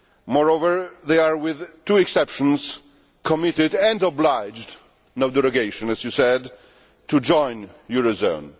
Moreover, they are, with two exceptions, committed and obliged no derogation, as you said to join the eurozone.